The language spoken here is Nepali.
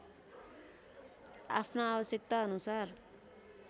आफ्ना आवश्यकता अनुसार